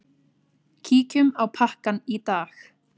Kíkjum á pakkann í dag.